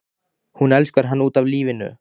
Hún elskar hann út af lífinu.